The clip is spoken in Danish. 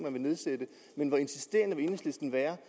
om at nedsætte men hvor insisterende vil enhedslisten være